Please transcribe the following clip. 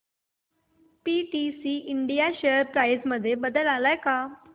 PTC India share price मध्ये बदल आलाय का